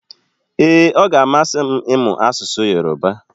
Ee, ọ ga-amasị m ịmụ asụsụ Yorùbá